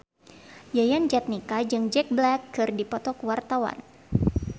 Yayan Jatnika jeung Jack Black keur dipoto ku wartawan